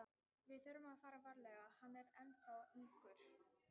Við þurfum að fara varlega, hann er ennþá ungur.